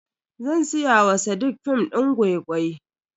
Zan siya wa sadiq film din gwai-gwai.